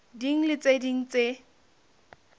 ding le tse ding tse